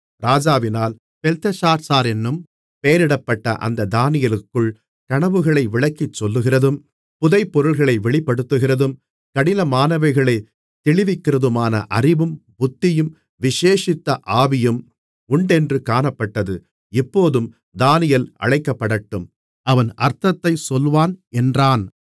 ராஜாவினால் பெல்தெஷாத்சாரென்னும் பெயரிடப்பட்ட அந்த தானியேலுக்குள் கனவுகளை விளக்கிச்சொல்கிறதும் புதை பொருள்களை வெளிப்படுத்துகிறதும் கடினமானவைகளைத் தெளிவிக்கிறதுமான அறிவும் புத்தியும் விசேஷித்த ஆவியும் உண்டென்று காணப்பட்டது இப்போதும் தானியேல் அழைக்கப்படட்டும் அவன் அர்த்தத்தை சொல்வான் என்றாள்